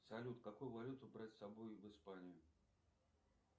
салют какую валюту брать с собой в испанию